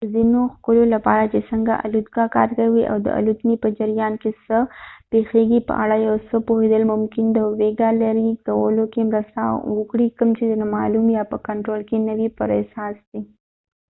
د ځینو خکلو لپاره چې څنګه الوتکه کار کوي او د الوتنې په جریان کې څه پیښیږي په اړه د یو څه پوهیدل ممکن د ویره لېرې کولو کې مرسته وکړي کوم چې د نامعلوم یا په کنټرول کې نه وي پر اساس دي